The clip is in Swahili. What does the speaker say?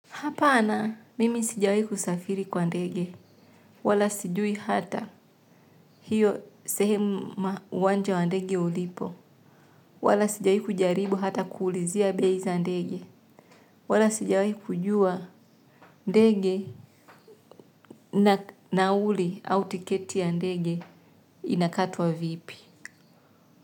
Hapana mimi sijawahi kusafiri kwa ndege, wala sijui hata hiyo sehemu uwanja wa ndege ulipo, wala sijawai kujaribu hata kuulizia bei za ndege, wala sijawai kujua ndege na nauli au tiketi ya ndege inakatwa vipi.